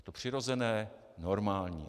Je to přirozené, normální.